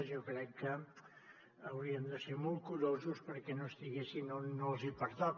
jo crec que hauríem de ser molt curosos perquè no estiguessin on no els hi pertoca